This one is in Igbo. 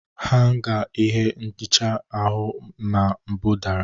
Hanga ihe nhicha ahụ na mbụ dara.